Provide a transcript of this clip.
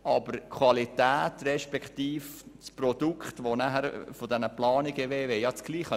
Aber die Qualität respektive das Produkt dieser Planungen wäre dasselbe.